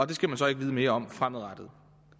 det skal man så ikke vide mere om fremadrettet